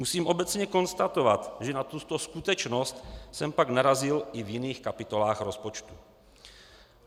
Musím obecně konstatovat, že na tuto skutečnost jsem pak narazil i v jiných kapitolách rozpočtu.